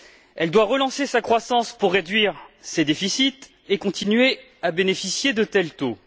Elle doit relancer sa croissance pour réduire ses déficits et continuer à bénéficier de tels taux.